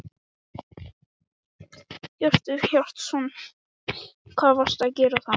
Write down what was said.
Hjörtur Hjartarson: Hvað varstu að gera þá?